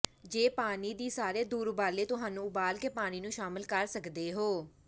ਜੇ ਪਾਣੀ ਦੀ ਸਾਰੇ ਦੂਰ ਉਬਾਲੇ ਤੁਹਾਨੂੰ ਉਬਾਲ ਕੇ ਪਾਣੀ ਨੂੰ ਸ਼ਾਮਿਲ ਕਰ ਸਕਦੇ ਹੋ